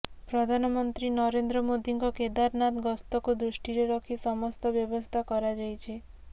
ପ୍ରଧାନମନ୍ତ୍ରୀ ନରେନ୍ଦ୍ର ମୋଦିଙ୍କ କେଦାରନାଥ ଗସ୍ତକୁ ଦୃଷ୍ଟିରେ ରଖି ସମସ୍ତ ବ୍ୟବସ୍ଥା କରାଯାଇଛି